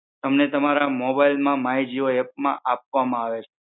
તમને તમારા મોબાઈલ માં માઇ જીઓ એપ માં આપવામ આવે છે.